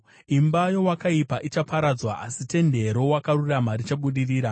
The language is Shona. Imba yeakaipa ichaparadzwa, asi tende rowakarurama richabudirira.